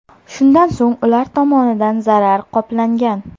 Shundan so‘ng ular tomonidan zarar qoplangan.